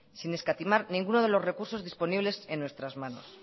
sin escatimar ninguno de los recursos disponibles en nuestras manos